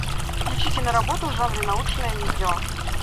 включи киноработу в жанре научное видео